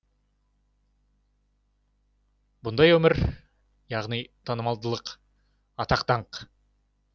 бұндай өмір яғни танымалдылық атақ даңқ